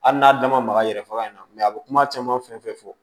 Hali n'a da maga yɛrɛ faga in na a bɛ kuma caman fɛn fɛn fɔ